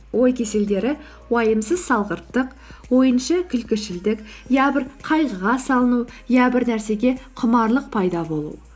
ой кеселдері уайымсыз салғырттық ойыншы күлкішілдік я бір қайғыға салыну я бір нәрсеге құмарлық пайда болу